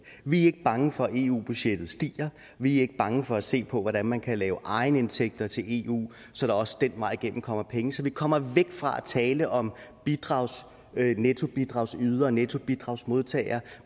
vi er ikke bange for at eu budgettet stiger vi er ikke bange for at se på hvordan man kan lave egenindtægter til eu så der også den vej igennem kommer penge så vi kommer væk fra at tale om nettobidragsydere nettobidragsmodtagere